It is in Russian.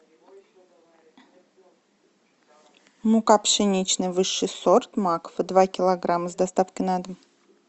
мука пшеничная высший сорт макфа два килограмма с доставкой на дом